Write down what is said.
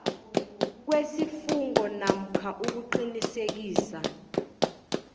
kwesifungo namkha ukuqinisekisa